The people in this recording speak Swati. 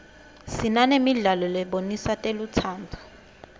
sinanemidlalo lebonisa telutsandvo